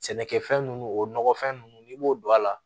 Sɛnɛkɛfɛn ninnu o nɔgɔfɛn ninnu n'i b'o don a la